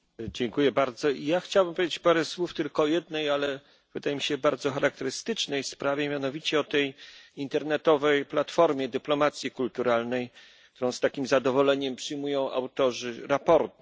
Pani Przewodnicząca! Chciałbym powiedzieć parę słów tylko o jednej, ale wydaje mi się bardzo charakterystycznej sprawie, mianowicie o tej internetowej platformie dyplomacji kulturalnej, którą z takim zadowoleniem przyjmują autorzy sprawozdania.